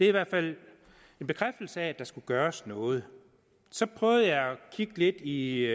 i hvert fald en bekræftelse af at der skulle gøres noget så prøvede jeg at kigge lidt i